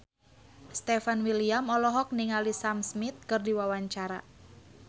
Stefan William olohok ningali Sam Smith keur diwawancara